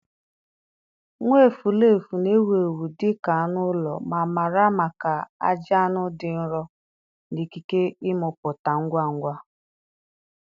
Nwaevulevu na-ewu ewu dị ka anụ ụlọ ma mara maka ajị anụ dị nro na ikike ịmụpụta ngwa ngwa